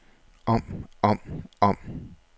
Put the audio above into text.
om om om